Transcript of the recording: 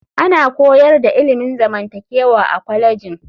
Ana koyar da ilimin zamantakewa a kwalejin.